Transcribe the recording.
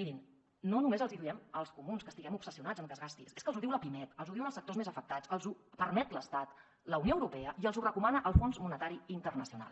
mirin no només els hi diem els comuns que estiguem obsessionats amb que es gasti és que els ho diu la pimec els ho diuen els sectors més afectats els ho permet l’estat la unió europea i els ho recomana el fons monetari internacional